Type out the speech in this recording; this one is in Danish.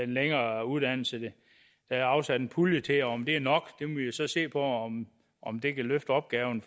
længere uddannelse der er afsat en pulje til om det er nok og om om det kan løfte opgaven